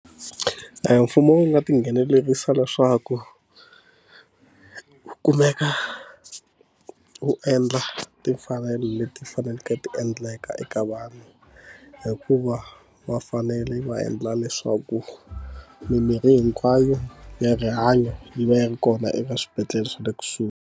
Mfumo wu nga tinghenelerisa leswaku wu kumeka wu endla timfanelo leti faneleke ti endleka eka vanhu hikuva va fanele va endla leswaku mimirhi hinkwayo ya rihanyo yi va yi ri kona eka swibedhlele swa le kusuhi.